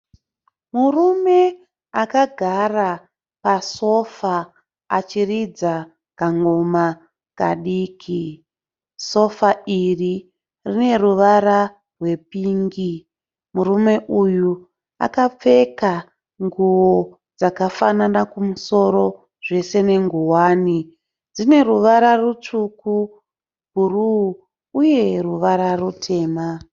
Murume akagara pasofa achiridza kangoma kadiki. Sofa iri rine ruvara rwepingi. Murume uyu akapfeka nguwo dzakafana kumusoro zvese nenguwani. Dzine ruvara rutsvuku, bhuruu uye ruvara rutema.